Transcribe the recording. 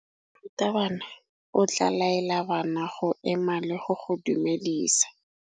Morutabana o tla laela bana go ema le go go dumedisa.